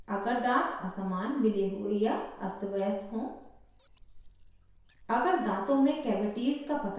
सभी आयु वर्ग के लोगों को प्रत्येक छः माह में दन्त चिकित्सक के पास जाना उपयुक्त माना जाता है